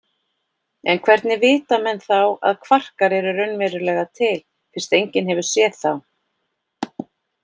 En hvernig vita menn þá að kvarkar eru raunverulega til fyrst enginn hefur séð þá?